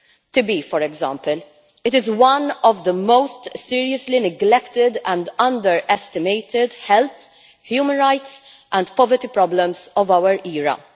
TB, for example, is one of the most seriously neglected and underestimated health, human rights and poverty problems of our era.